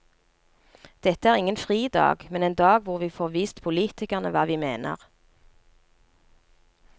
Dette er ingen fridag, men en dag hvor vi får vist politikerne hva vi mener.